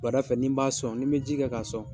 Wulada fɛ ni b'a sɔn, n bɛ ji kɛ ka sɔn